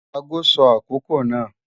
Ago sọ akokò náà.